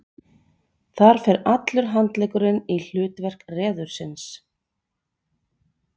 þar fer allur handleggurinn í hlutverk reðursins